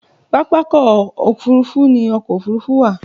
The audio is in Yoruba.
Pápákọ̀ òfúrufú ni ọkọ̀ òfúrufú wà